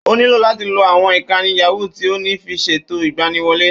Ó nílò láti lo àwọn ìkànnlé yàwúu tí ó ní fi ṣètò ìgbaniwolé